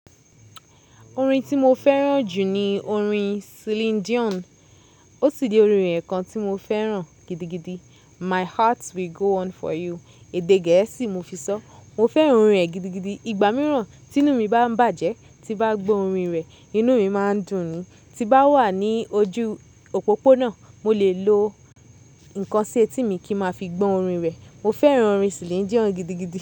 Orin tí mo fẹ́ràn jù ni orin Celine Dion. Ó sì ni orin ẹ̀ kan tí mo fẹ́ràn gidigidi "My heart will go on for you" èdè gẹ̀ẹ́sì mo fi sọ. Mo fẹ́ràn orin rẹ̀ gidigidi. Ìgbà mìíràn tí inú mi bá ń bàjẹ́, tí bá gbọ́ orin rẹ̀, inú mi má ń dùn ún. Ti bá wà ní ojú òpópónà, mo lè lo nǹkan sí etí mi kí n má fi gbọ́ orin rẹ̀. Mo fẹ́ràn orin Celine Dion gidigidi.